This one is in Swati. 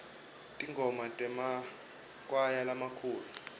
tingoma temakwaya lamakhulu